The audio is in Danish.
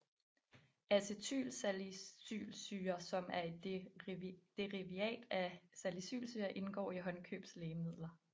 Acetylsalicylsyre som er et derivat af salicylsyre indgår i håndkøbslægemidler